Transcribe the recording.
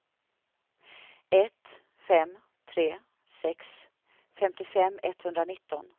ett fem tre sex femtiofem etthundranitton